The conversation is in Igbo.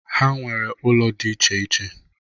Ha nwere ụlọ dị iche iche.